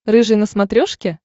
рыжий на смотрешке